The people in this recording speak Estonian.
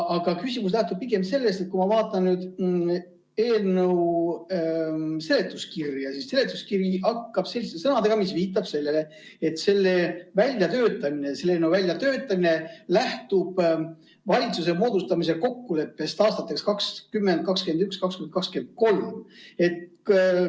Aga küsimus lähtub pigem sellest, et kui ma vaatan eelnõu seletuskirja, siis seletuskiri algab selliste sõnadega, mis viitavad sellele, et eelnõu väljatöötamine lähtub valitsuse moodustamise kokkuleppest aastateks 2021–2023.